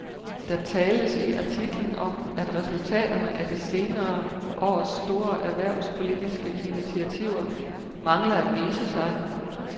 Der tales i artiklen om, at resultaterne af de senere års store erhvervspolitiske initiativer mangler at vise sig.